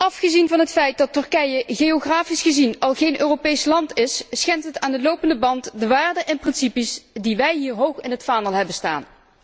Afgezien van het feit dat Turkije geografisch gezien al geen Europees land is, schendt het aan de lopende band de waarden en principes die wij hier hoog in het vaandel hebben staan.